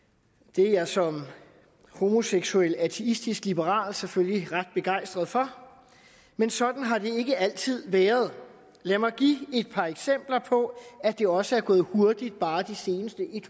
det er jeg som homoseksuel og ateistisk liberal selvfølgelig ret begejstret for men sådan har det ikke altid været lad mig give et par eksempler på at det også er gået hurtigt bare i de seneste